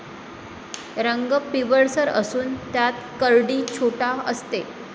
रंग पिवळसर असून त्यात कर्डी छोटा असते